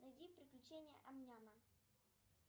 найди приключения ам няма